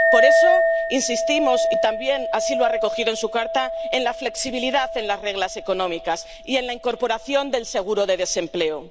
Por eso insistimos —y también lo ha recogido así en su carta— en la flexibilidad de las reglas económicas y en la incorporación del seguro de desempleo.